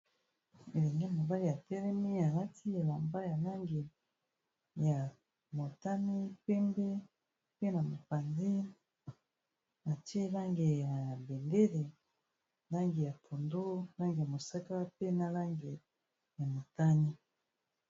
Elenge mobali atelemi alati elamba ya langi ya motane, pembe, mpe na mopanzi atie langi ya bendele langi ya pondu langi ya mosaka, pe na langi ya motani.